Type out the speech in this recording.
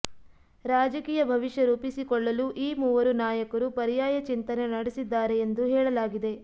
ರಾಜಕೀಯ ಭವಿಷ್ಯ ರೂಪಿಸಿಕೊಳ್ಳಲು ಈ ಮೂವರು ನಾಯಕರು ಪರ್ಯಾಯ ಚಿಂತನೆ ನಡೆಸಿದ್ದಾರೆ ಎಂದು ಹೇಳಲಾಗಿದೆ